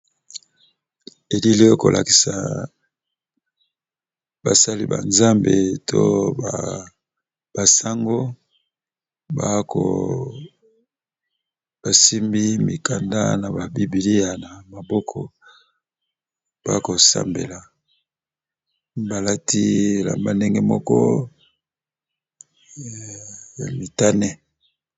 Elile eo kolakisa basali ba nzambe to basango, bako, basimbi mikanda na ba bibiliya na maboko bakosambela balati bilamba ya ndenge moko ya mitane.